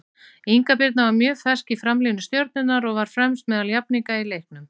Inga Birna var mjög fersk í framlínu Stjörnunnar og var fremst meðal jafningja í leiknum.